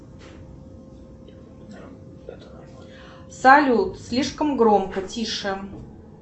салют слишком громко тише